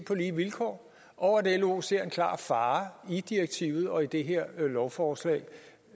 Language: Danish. på lige vilkår og at lo ser en klar fare i direktivet og i det her lovforslag